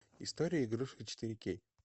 история игрушек четыре кей